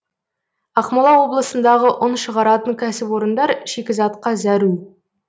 ақмола облысындағы ұн шығаратын кәсіпорындар шикізатқа зәру